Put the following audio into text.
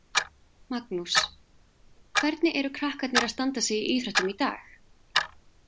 Magnús: Hvernig eru krakkarnir að standa sig í íþróttum í dag?